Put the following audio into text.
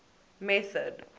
method